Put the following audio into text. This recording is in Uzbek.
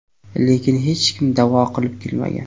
Lekin hech kim da’vo qilib kelmagan.